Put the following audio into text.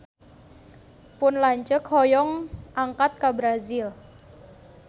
Pun lanceuk hoyong angkat ka Brazil